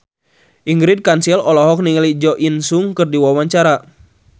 Ingrid Kansil olohok ningali Jo In Sung keur diwawancara